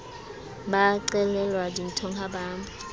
ba qelelwa dinthong ha ba